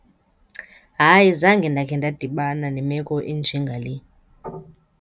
Hayi, zange ndakhe ndadibana nemeko enjengale.